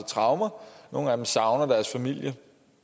traumer nogle af dem savner deres familie